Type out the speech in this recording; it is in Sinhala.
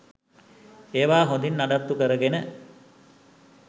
ඒවා හොඳින් නඩත්තු කරගෙන